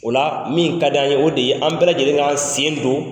O la min ka d'an ye o de ye an bɛɛ lajɛlenkan sen don